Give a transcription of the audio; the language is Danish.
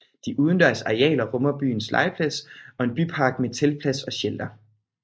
De udendørs arealer rummer byens legeplads og en bypark med teltplads og shelter